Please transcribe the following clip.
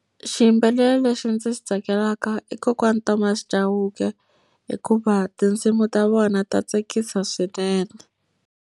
Xiyimbeleri lexi ndzi xi tsakelaka i kokwana Thomas Chauke. Hikuva tinsimu ta vona ta tsakisa swinene.